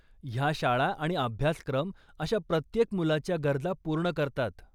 ह्या शाळा आणि अभ्यासक्रम अशा प्रत्येक मुलाच्या गरजा पूर्ण करतात.